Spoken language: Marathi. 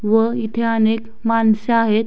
व इथे अनेक मानस आहेत.